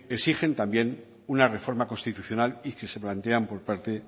exigen también una reforma constitucional y que se plantean por parte